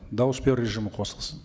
дауыс беру режимі қосылсын